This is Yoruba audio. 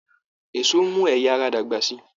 Èso n mú ẹyà ara dàgbà sí.